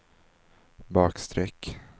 bakstreck